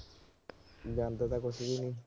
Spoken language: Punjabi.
ਜਾਂਦਾ ਤਾਂ ਕੁਛ ਵੀ ਨੀ।